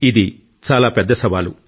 ఇది చాలా పెద్ద సవాలు